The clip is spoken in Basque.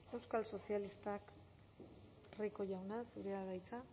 euskal sozialistak rico jauna zurea da hitza